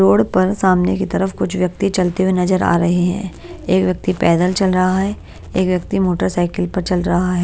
Road पर सामने की तरफ कुछ व्यक्ति चलते हुए नजर आ रही है एक व्यक्ति पैदल चल रहा है एक व्यक्ति मोटरसाइकिल पर चल रहा है।